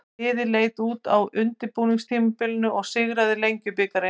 Liðið leit vel út á undirbúningstímabilinu og sigraði Lengjubikarinn.